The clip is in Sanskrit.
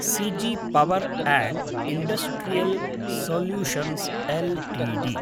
सिजि power and industrial solutions Ltd